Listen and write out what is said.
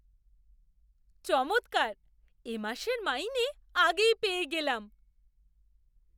চমৎকার! এ মাসের মাইনে আগেই পেয়ে গেলাম।